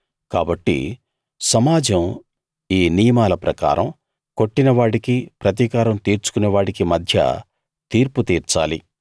కాబట్టి సమాజం ఈ నియమాల ప్రకారం కొట్టిన వాడికీ ప్రతికారం తీర్చుకునే వాడికీ మధ్య తీర్పుతీర్చాలి